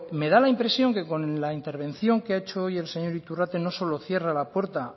me da la impresión que con la intervención que ha hecho hoy el señor iturrate no solo cierra la puerta a